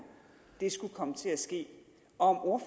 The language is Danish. det skulle komme til at ske og